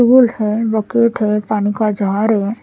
Stool है पानी का जार है ।